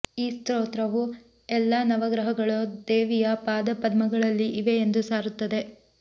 ಈ ಸ್ತೋತ್ರವು ಎಲ್ಲಾ ನವಗ್ರಹಗಳು ದೇವಿಯ ಪಾದಪದ್ಮಗಳಲ್ಲಿ ಇವೆ ಎಂದು ಸಾರುತ್ತದೆ